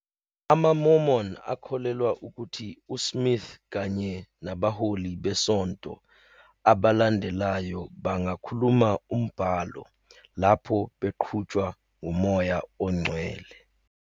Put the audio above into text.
AmaMormon akholelwa ukuthi uSmith kanye nabaholi besonto abalandelayo bangakhuluma umbhalo "lapho beqhutshwa nguMoya oNgcwele."